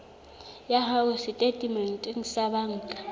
ya hao setatementeng sa banka